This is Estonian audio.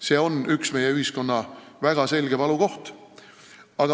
See on üks meie ühiskonna väga selge valukoht.